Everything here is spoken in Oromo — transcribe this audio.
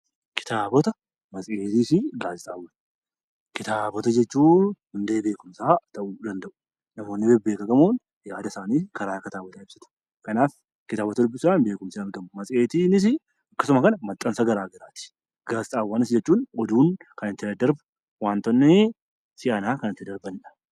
Kitaaboota, matseetii fi gaazexaawwan. Kitaaboota jechuun hundee beekumsaa ta'uu ni danda'u. Namoonni beekamoon yaada isaanii karaa kitaabota ibsatu. Kitaabota dubbisuudhaan beekumsi argama. Matseetiinis akkasuma maxxansa garaa garaati. Gaazexaawwan jechuunis oduun kan ittiin daddarbu wantoonni siyaasaa kan ittiin darbaniidha.